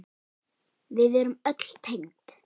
Við erum öll tengd.